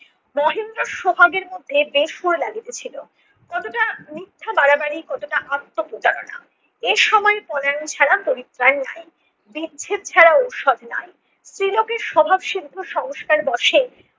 মহেন্দ্রর সোহাগের মধ্যে বেসুর লাগিতেছিল। কতটা মিথ্যা বাড়াবাড়ি, কতটা আত্ম প্রচারণা এসময় পলানি ছাড়া পরিত্ৰাণ নাই। বিচ্ছেদ ছাড়া ঔষধ নাই। স্ত্রীলোকের স্বভাব সিদ্ধ সংস্কার বশে